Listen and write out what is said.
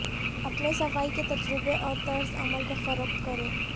اپنے صفائی کے تجربے اور طرز عمل کو فروخت کریں